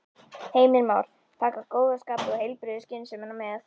Heimir Már: Taka góða skapið og heilbrigðu skynsemina með?